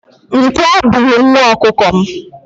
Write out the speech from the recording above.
Nkwọ buru nwa ọkụkọ m.